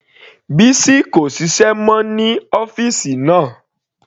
Bisi kò ṣiṣẹ́ mọ́ ní ọ́fìsì náà.